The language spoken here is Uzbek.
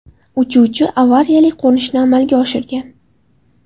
Uchuvchi avariyali qo‘nishni amalga oshirgan.